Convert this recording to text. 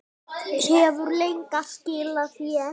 Hefur leiga skilað sér?